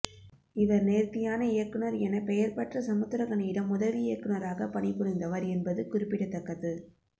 இவர் நேர்த்தியான இயக்குநர் என பெயர்பெற்ற சமுத்திரக்கனியிடம் உதவி இயக்குநராக பணி புரிந்தவர் என்பது குறிப்பிடத்தக்கது